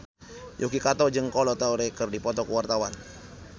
Yuki Kato jeung Kolo Taure keur dipoto ku wartawan